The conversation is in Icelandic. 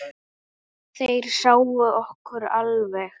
Þeir sáu okkur alveg!